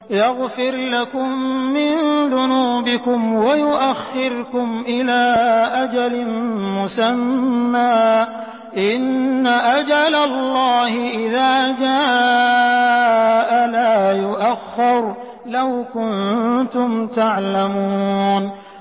يَغْفِرْ لَكُم مِّن ذُنُوبِكُمْ وَيُؤَخِّرْكُمْ إِلَىٰ أَجَلٍ مُّسَمًّى ۚ إِنَّ أَجَلَ اللَّهِ إِذَا جَاءَ لَا يُؤَخَّرُ ۖ لَوْ كُنتُمْ تَعْلَمُونَ